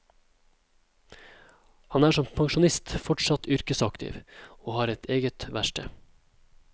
Han er som pensjonist fortsatt yrkesaktiv, og har eget verksted.